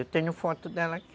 Eu tenho foto dela aqui.